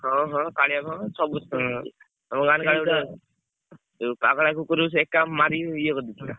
ହଁ ହଁ କାଳିଆ କୁଆଁ ତ ସମସ୍ତେ ତମ ଗାଁରେ କାଳିଆ କୁଆଁ ଉଁ ପାଗାଲା କୁକୁରକୁ ସେ ଏକା ମାରି ଇଏ କରିଦେଇଥିଲା।